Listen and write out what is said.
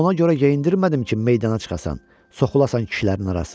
Ona görə geyindirmədim ki, meydana çıxasan, soxulasan kişilərin arasına.